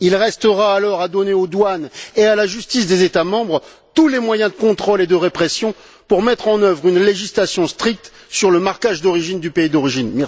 Il restera alors à donner aux douanes et à la justice des États membres tous les moyens de contrôle et de répression pour mettre en œuvre une législation stricte sur le marquage d'origine et le pays d'origine.